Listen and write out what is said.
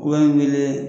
U bɛ n wele